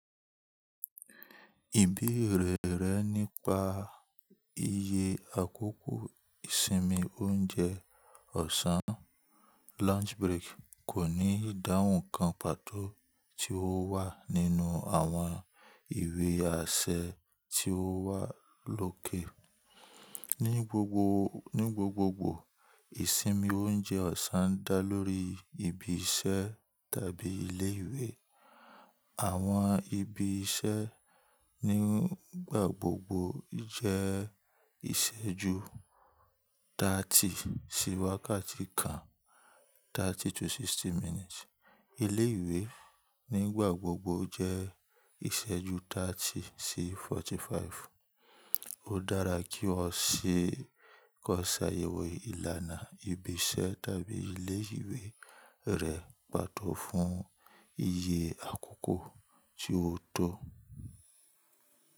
Ìbí rẹ̀ derẹ̀ nípa iye àkókò ìsinmi oúnjẹ ọ̀sán, lunch break kò ní ìdáhùn kan pàtó tí ó wà nínú àwọn ìwé àṣẹ tí ó wà lókè. Ní gbogbogbò, ìsinmi oúnjẹ ọ̀sán dá lórí ibi iṣẹ́ tàbí ilé ìwé. Àwọn ibi iṣẹ́ nígbàgbogbò jẹ́ ìṣẹ́ ju 30 sí wákàtí kan, 30 to 60 minutes. Ilé ìwé nígbàgbogbò jẹ́ ìṣẹ́ ju 30 sí 45. Ó dára kí o ṣe kọ sàyẹ̀wò ìlànà ibi iṣẹ́ tàbí ilé ìwé rẹ pàtó fún iye àkókò tí ó tọ́.